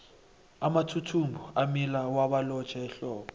amathuthumbo amila bawalotjhe ehlobo